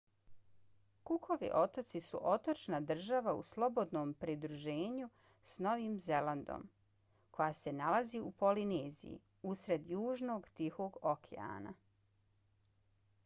cookovi otoci su otočna država u slobodnom pridruženju s novim zelandom koja se nalazi u polineziji usred južnog tihog okeana